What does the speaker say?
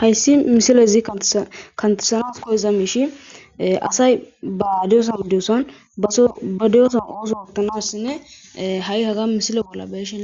hayssi misilezi kantesanas koyeza miishi asay ba diyoson idioson baso ba deyoson ooso oottanasinne ha7i haga misile bolla beeshe